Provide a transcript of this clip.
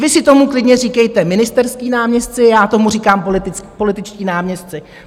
Vy si tomu klidně říkejte ministerští náměstci, já tomu říkám političtí náměstci.